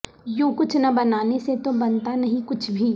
یوں کچھ نہ بنانے سے تو بنتانہیں کچھ بھی